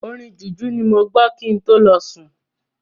Orin Jùjú ni mo gbọ kin tó lọ sùn.